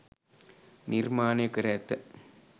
නිර්මාණය කර ඇත.